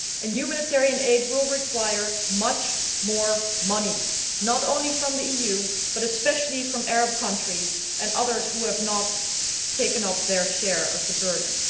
Humanitarian aid will require much more money, not only from the EU but especially from Arab countries and others who have not taken up their share of the burden.